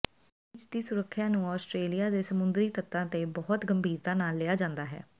beach ਦੀ ਸੁਰੱਖਿਆ ਨੂੰ ਆਸਟਰੇਲੀਆ ਦੇ ਸਮੁੰਦਰੀ ਤੱਟਾਂ ਤੇ ਬਹੁਤ ਗੰਭੀਰਤਾ ਨਾਲ ਲਿਆ ਜਾਂਦਾ ਹੈ